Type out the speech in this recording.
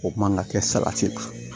O man ka kɛ salati la